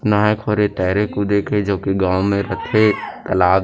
नहाय खोरे तैयरे कुदे के जो कि गाँव में रथे तलाब--